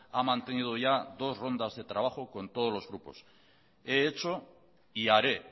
ha mantenido ya dos rondas de trabajo con todos los grupos he hecho y haré